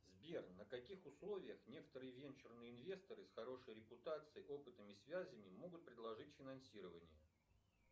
сбер на каких условиях некоторые венчурные инвесторы с хорошей репутацией опытом и связями могут предложить финансирование